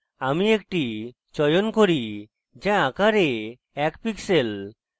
আমি একটি চয়ন করি যা আকারে এক pixel